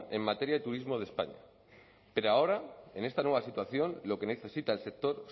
en materia de turismo de españa pero ahora en esta nueva situación lo que necesita el sector